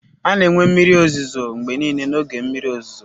A na-enwe mmiri ozuzo mgbe niile n'oge mmiri ozuzo.